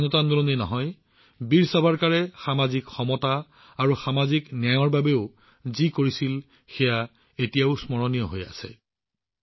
কেৱল স্বাধীনতা আন্দোলনেই নহয় বীৰ সাভাৰকাৰে সামাজিক সমতা আৰু সামাজিক ন্যায়ৰ বাবে যি কৰিছিল সেয়া আজিও স্মৰণীয় হৈ আছে